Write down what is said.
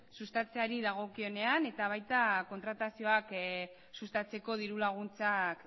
sustatzeari dagokienean eta baita kontratazioak sustatzeko dirulaguntzak